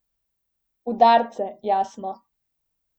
Udarce, jasno.